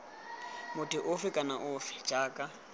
motho ofe kana ofe jaaka